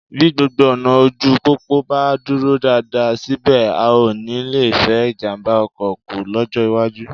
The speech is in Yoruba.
Bí gbogbo ọ̀nà ojú pópó bá dúró dáadáa, síbẹ̀, a ó nì lè fẹ́ ìjàmbá ọkọ kù lọ́jọ́ iwájú